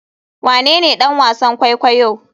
Wanene ɗan wasan kwaikwayo?